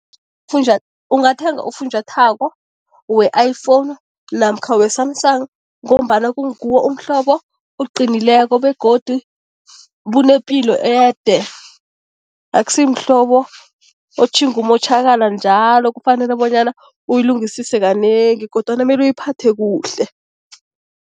ungathenga ufunjathwako we-iPhone namkha we-Samsung ngombana kunguwo umhlobo oqinileko begodu bunepilo ede, akusimhlobo otjhinge umotjhakala njalo kufanele bonyana uyilungisise kanengi kodwana mele uyiphathe kuhle.